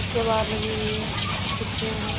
केवाड़ लगी हुई है खिड़की है।